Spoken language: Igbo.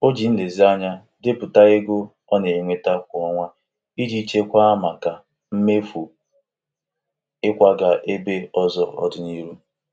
O ji nlezianya depụta ego ọ na-enweta kwa ọnwa iji chekwaa maka mmefu ịkwaga ebe ọzọ n'ọdịnihu.